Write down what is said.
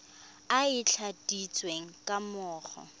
e e tladitsweng ga mmogo